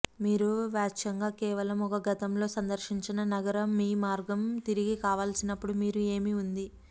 మీరు వాచ్యంగా కేవలం ఒక గతంలో సందర్శించిన నగర మీ మార్గం తిరిగి కావలసినప్పుడు మీరు ఏమి ఉంది